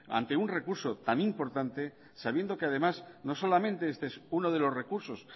ante un recurso tan importante sabiendo que además no solamente este es uno de los recursos